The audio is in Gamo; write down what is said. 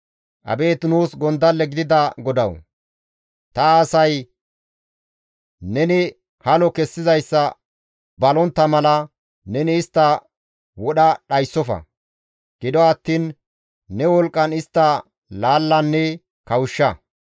Abeet nuus gondalle gidida Godawu! Ta asay neni halo kessizayssa balontta mala neni istta wodha dhayssofa; gido attiin ne wolqqan istta laallanne kawushsha.